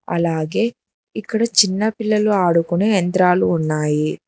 అలాగే ఇక్కడ చిన్న పిల్లలు ఆడుకునే యంత్రాలు ఉన్నాయి.